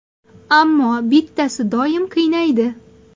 Ammo bittasi doim qiynaydi.